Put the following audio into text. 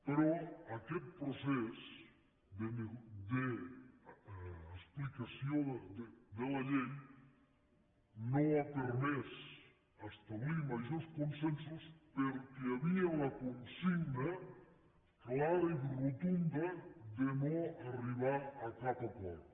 però aquest procés d’explicació de la llei no ha permès establir majors consensos perquè hi havia la consigna clara i rotunda de no arribar a cap acord